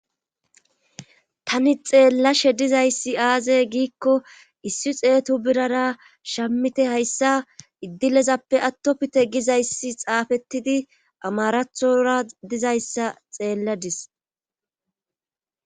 tani xeellashe dizayssi aazey giikko issi xeetu birara shammite hayssa iddilezappe attopite gizayssi xaafettidi amarathora dizayssa xeelladis